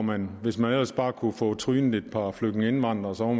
man hvis man ellers bare kunne få trynet et par flygtningeindvandrere